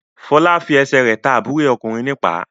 Fọlá fi ẹsẹ̀ rẹ̀ ta àbúrò rẹ̀ ọkùnrin ní ìpá.